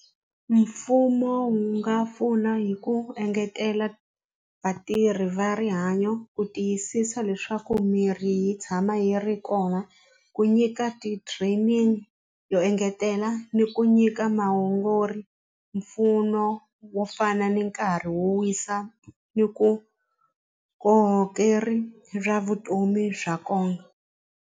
Mfumo wu nga pfuna hi ku engetela vatirhi va rihanyo ku tiyisisa leswaku mirhi yi tshama yi ri kona ku nyika ti-training yo engetela ni ku nyika mpfuno wo fana ni nkarhi wo wisa ni ku vukorhokeri bya vutomi bya kona.